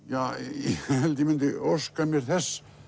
ég held ég myndi óska mér þess